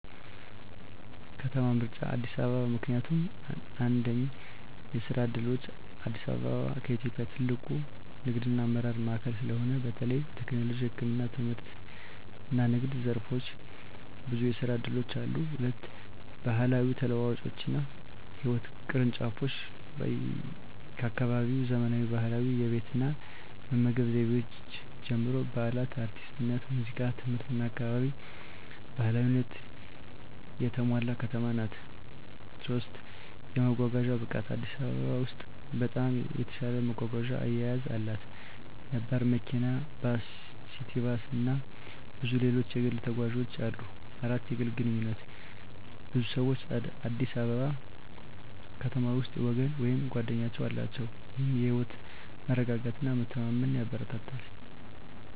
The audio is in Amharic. ከተማ ምርጫ አዲስ አበባ ምክንያቱም፦ 1. የስራ ዕድሎች: አዲስ አበባ ከኢትዮጵያ ትልቁ ንግድና አመራር ማዕከል ስለሆነ፣ በተለይ በቴክኖሎጂ፣ ህክምና፣ ትምህርትና ንግድ ዘርፎች ብዙ የስራ እድሎች አሉ። 2. ባህላዊ ተለዋዋጮችና ህይወት ቅርንጫፎች: ከአካባቢያዊ ዘመናዊ ባህላዊ የቤት እና መመገብ ዘይቤዎች ጀምሮ፣ በዓላት፣ አርቲስትነት፣ ሙዚቃ፣ ትምህርትና አካባቢ ባህላዊነት የተሞላ ከተማ ናት። 3. የመጓጓዣ ብቃት: አዲስ አበባ በኢትዮጵያ ውስጥ በጣም የተሻለ መጓጓዣ አያያዝ አላት። ነባር መኪና፣ ባስ፣ ሲቲ ባስ፣ እና ብዙ ሌሎች የግል ተጓዦች አሉ። 4. የግል ግንኙነቶች: ብዙ ሰዎች አዲስ አበባ ከተማ ውስጥ ወገን ወይም ጓደኞች አላቸው፣ ይህም የህይወት መረጋጋትና መተማመን ያበረታታል።